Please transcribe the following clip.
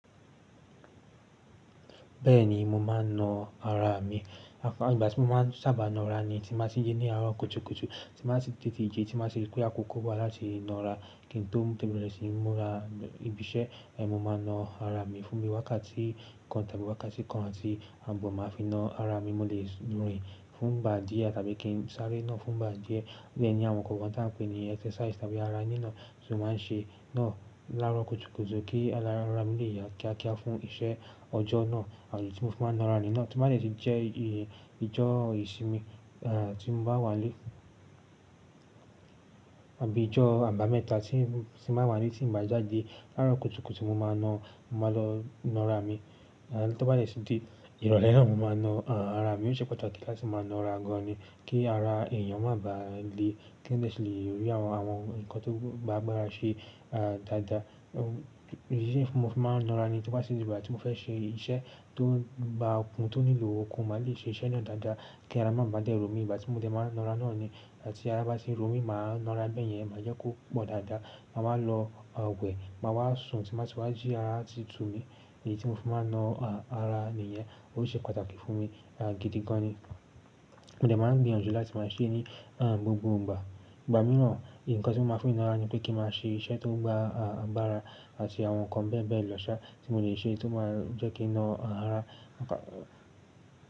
Bẹ́ẹ̀ni, mo máà ń na ara mi. Àwọn ìgbà tí mo máa sábà na ara ni tí n bá ti jí ní àárọ̀ kùtùkùtù, tí n bá ti tètè jí tí n bá ti rí pé àkókò wá láti na ara. Kí n tó mú dẹ́ bẹ́rẹ́ sí i, múra ibi iṣẹ́, mo máa na ara mi fún mi wákàtí kan tàbí wákàtí kan àti ààbọ̀ máa fi na ara mi mo lè rìn fún ìgbà díẹ̀ tàbí kí n sáré náà fún ìgbà díẹ̀. O dẹ ni àwọn nǹkankan tá a ń pè ní exercise tàbí ara nína tí mo máa ń ṣe náà lárọ̀ kùtùkùtù kí ara mi lè yá kíákíá fún iṣẹ́ ọjọ́ náà. Àmì tí mo fi máa na ra ni náà to bá dè ti jẹ́ ìjọ́ ìsinmi, tí mo bá wà ní ilé àbí ìjọ́ àbámẹ́ta tí mo bá wà ní ilé tí n bá jáde lárọ̀ kùtùkùtù mo máa na, mo máa lọ na ara mi. Tó bá dẹ sì de ìrọ̀lẹ́ náà mo máa na ara mi. Ó ṣe pàtàkì láti máa na ara gan ni kí ara èèyàn má ba à le kí ẹni yẹn sì lè rí àwọn nǹkan tó gba agbára ṣe dáadáa. Èyí ni mo fi máa ń na ara mi tó bá tì di ìgbà tí mo fẹ́ ṣe iṣẹ́ tó gba okùn, tó nílò okun, máa lè ṣe iṣẹ́ náà dáadáa kí ara má ba à dé ro mí ìgbà tí mo dé máa n na ara náà ni. Ìgbà tí ara bá ti n ro mí, mà á na ara bẹ́ẹ̀yẹn máa jẹ́ kó pọ̀ dáadáa. Mà wá lọ wẹ̀, mà wá sùn tí n bà ti wá jí ara atí tu mi. Èyí tí mo fi máa na ara ni ìyẹn, ó ṣe pàtàkì fún mi gidi gan ni. Mo dẹ̀ máa ń gbìyànjú latí màá ṣe ní gbogbo ìgbà. Ìgbà mìíràn, ǹkan tí mo máa fi na ara ni pé kí n máa ṣe iṣẹ́ tó gba agbára àti àwọn nǹkan bẹ́ẹ̀bẹ́ẹ̀ lọ́ṣá tí mo lè ṣe tó máa jẹ́ kí n na ara.